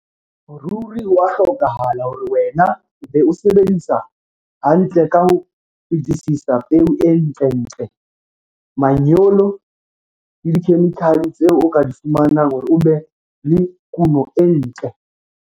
Ruri ho a hlokahala hore wena o be o sebedisa hantle ka ho fetisisa peo e ntlentle, manyolo le dikhemikhale tseo o ka di fumanang hore o be le kuno e ntle.